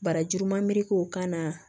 Barajuru ma merik'o kan na